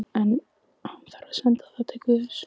En- hann þarf að senda það til guðs.